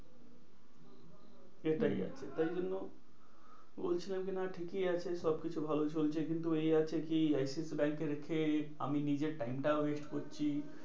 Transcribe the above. সেটাই আছে তাই জন্য বলছিলাম কি না ঠিকই আছে সবকিছু ভালোই চলছে। কিন্তু এই আছে কি I C I C I ব্যাঙ্কে রেখে আমি নিজের time টাও waste করছি।